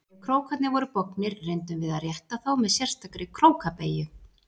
Ef krókarnir voru bognir reyndum við að rétta þá með sérstakri króka- beygju.